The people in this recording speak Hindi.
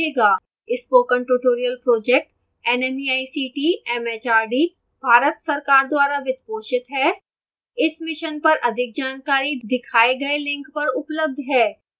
spoken tutorial project nmeict mhrd Bharat सरकार द्वारा वित्त पोषित है इस मिशन पर अधिक जानकारी दिखाए गए लिंक पर उपलब्ध है